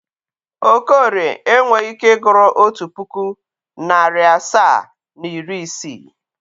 Okorie enweghi ike ịgụrụ otu pụkụ, narị asaa na iri isii.